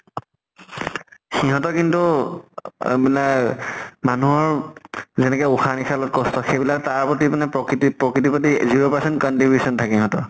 সিহঁতৰ কিন্তু আ মানে মানুহৰ যেনেকে উসাহ নিসাহ লোৱাত কষ্ট সেইবিলাক তাৰ প্ৰতি মানে প্ৰকৃতিত প্ৰকৃতিৰ প্ৰতি zero percent contribution থাকে ইহঁতৰ।